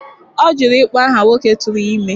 Ọ jụrụ ịkpọ aha nwoke tụrụ ya ime.